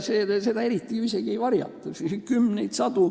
Seda ju eriti ei varjata.